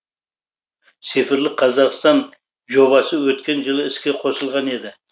цифрлық қазақстан жобасы өткен жылы іске қосылған еді